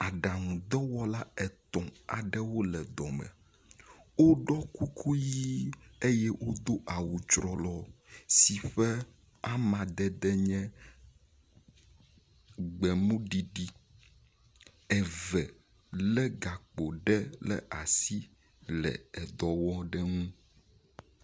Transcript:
Aɖaŋudɔwɔla etɔ̃ aɖewo le dɔ me. Woɖɔ kuku ʋi eye wodo awu trɔlɔ si ƒe amadede nye gbemuɖiɖi eve le gakpo ɖe ɖe asi le edɔ wɔm le eŋu.